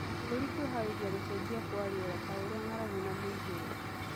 na kĩbũrũri kwĩharĩrĩria kwa gũcenjia kwa rĩera ta ũrĩa ng'aragu na mũiyũro